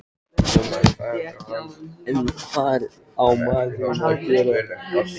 En hvað á maður að gera?